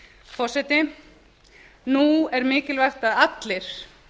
forseti nú er mikilvægt að allir